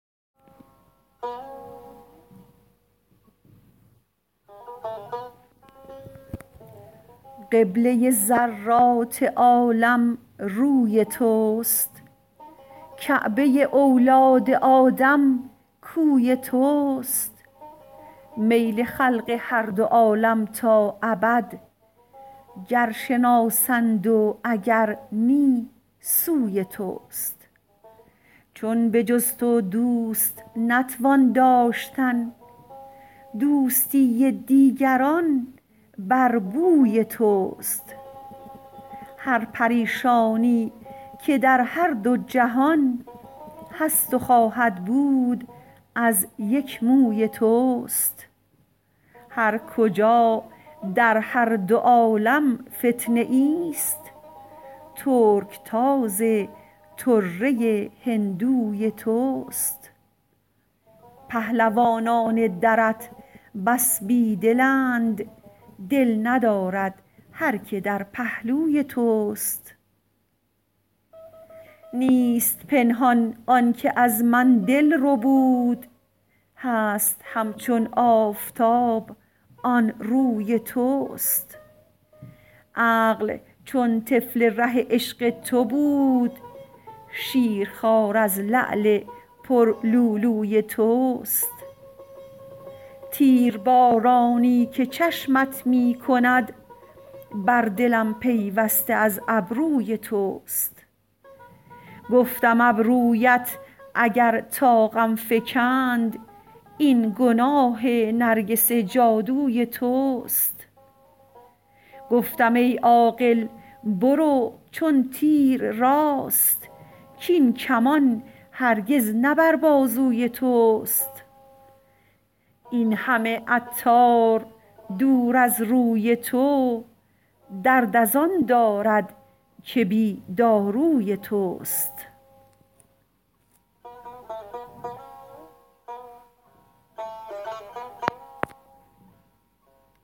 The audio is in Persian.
قبله ذرات عالم روی توست کعبه اولاد آدم کوی توست میل خلق هر دو عالم تا ابد گر شناسند و اگر نی سوی توست چون به جز تو دوست نتوان داشتن دوستی دیگران بر بوی توست هر پریشانی که در هر دو جهان هست و خواهد بود از یک موی توست هر کجا در هر دو عالم فتنه ای است ترکتاز طره هندوی توست پهلوانان درت بس بی دلند دل ندارد هر که در پهلوی توست نیست پنهان آنکه از من دل ربود هست همچون آفتاب آن روی توست عقل چون طفل ره عشق تو بود شیرخوار از لعل پر لؤلؤی توست تیربارانی که چشمت می کند بر دلم پیوسته از ابروی توست گفتم ابرویت اگر طاقم فکند این گناه نرگس جادوی توست گفتم ای عاقل برو چون تیر راست کین کمان هرگز نه بر بازوی توست این همه عطار دور از روی تو درد از آن دارد که بی داروی توست